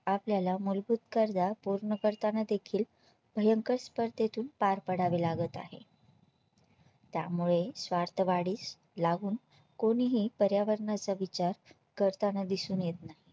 आपल्याला मूलभूत गरजा पूर्ण करताना देखील भयंकर स्पर्धेतून पार पडावे लागत आहे त्यामुळे स्वार्थवाढीस लागून कोणीही पर्यावरणाचा विचार करताना दिसून येत नाही